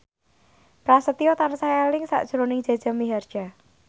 Prasetyo tansah eling sakjroning Jaja Mihardja